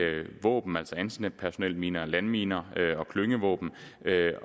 våben altså antipersonelminer og landminer og klyngevåben